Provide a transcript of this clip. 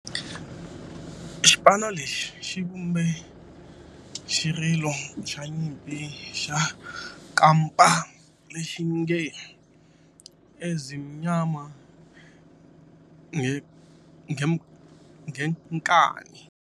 Xipano lexi xi vumbe xirilo xa nyimpi xa kampa lexi nge 'Ezimnyama Ngenkani'.